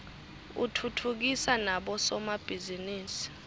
utfutfukisa nabo somabhizinisi